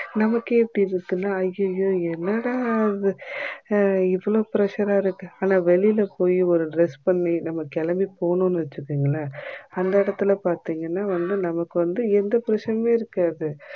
நமக்கே இப்படி இருக்குனா அய்யயோ என்னாடா இது இவ்ளோ pressure இருக்கு ஆனா வெளில போய் நம்ப ஒரு dress பண்ணி கெளம்பி போனோம் வச்சிக்கோங்கள அந்த இடத்துல பாத்தீங்கன்னா வந்து எந்த pressure உமே இருக்காது